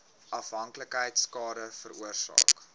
afhanklikheid skade veroorsaak